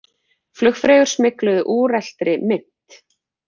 Flugfreyjur smygluðu úreltri mynt